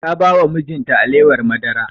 Ta ba wa mijin ta alewar madara